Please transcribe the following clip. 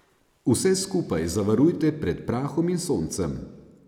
Vse skupaj zavarujte pred prahom in soncem.